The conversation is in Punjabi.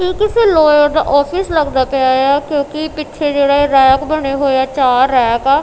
ਇਹ ਕਿੱਸੇ ਲੋਇਰ ਦਾ ਆਫਿਸ ਲੱਗਦਾ ਪਿਆ ਇਆ ਕਿਉਂਕੀ ਪਿੱਛੇ ਜਿਹੜੇ ਰੈਕ ਬਣੇ ਹੋਏ ਆ ਚਾਰ ਰੈਕ ਆ।